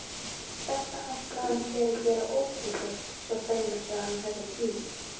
Þetta ætlaði hann sér að gera ókeypis svo fremur sem hann hefði tíma.